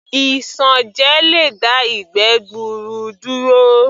Isanje lè dá ìgbẹ́ gbuuru duro